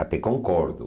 Até concordo.